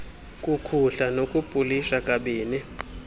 kukhuhla nokupolisha kabini